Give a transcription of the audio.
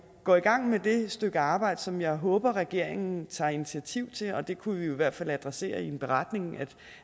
går i gang med det stykke arbejde som jeg håber regeringen tager initiativ til og det kunne vi i hvert fald adressere i en beretning at